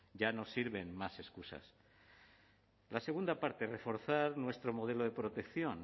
ya no sirven más excusas la segunda parte reforzar nuestro modelo de protección